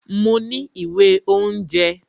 Mo ní ìwé oúnjẹ